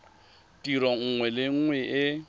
tiro nngwe le nngwe e